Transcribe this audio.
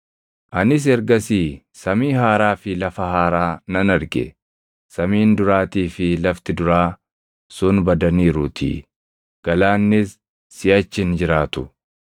Anis ergasii samii haaraa fi lafa haaraa + 21:1 \+xt Isa 65:17; 2Ph 3:13\+xt* nan arge; samiin duraatii fi lafti duraa sun badaniiruutii; galaannis siʼachi hin jiraatu.